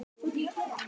Ég heiti Ísbjörg.